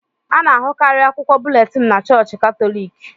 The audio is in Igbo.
A na-ahụkarị akwụkwọ búlétin na Chọọchị Katọlik